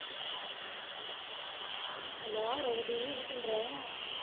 hello Revathi என்ன பண்ணற